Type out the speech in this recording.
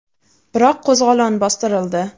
Biroq qo‘zg‘olon bostirildi.